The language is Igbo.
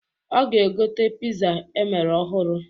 Ọ ga egote piza emere ọhụrụ.